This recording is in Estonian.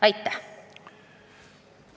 Aitäh!